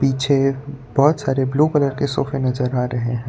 मुझे बहोत सारे ब्लू कलर के सोफे नजर आ रहे हैं।